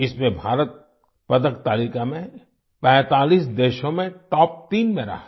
इसमें भारत पदक तालिका में 45 देशों में टॉप तीन में रहा